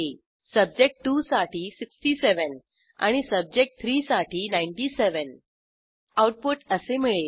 सब्जेक्ट2 साठी 67 आणि सब्जेक्ट3 साठी 97 आऊटपुट असे मिळेल